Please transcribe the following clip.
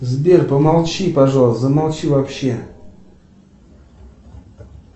сбер помолчи пожалуйста замолчи вообще